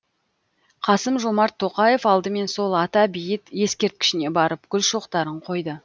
қасым жомарт тоқаев алдымен сол ата бейіт ескерткішіне барып гүл шоқтарын қойды